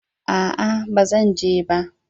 A'a baba zan je ba.